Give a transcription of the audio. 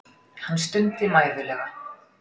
Hann stundi mæðulega.